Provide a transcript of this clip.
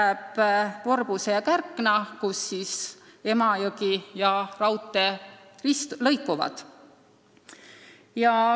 Jäävad Vorbuse ja Kärkna, kus Emajõgi ja raudtee vist lõikuvad.